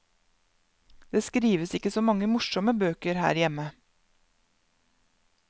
Det skrives ikke så mange morsomme bøker her hjemme.